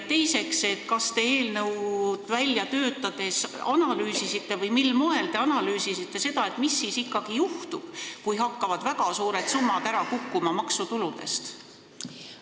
Teiseks, kas te eelnõu välja töötades analüüsisite ja kui analüüsisite, siis mil moel, mis siis ikkagi juhtub, kui hakkavad väga suured summad maksutuludest ära kukkuma?